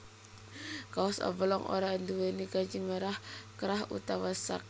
Kaos oblong ora nduwèni kancing krah utawa sak